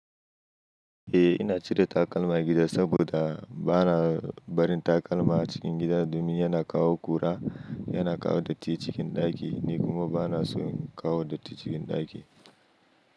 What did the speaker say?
Eh ina cire takalma gida saboda bana barin takalma a cikin gida domin yana kawo ƙura, yana kawo datti cikin ɗaki ni kuma bana so in kawo datti cikin ɗaki.